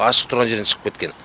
ашық тұрған жерден шығып кеткен